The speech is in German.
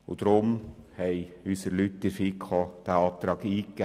Deshalb haben unsere Leute in der FiKo diesen Antrag eingegeben.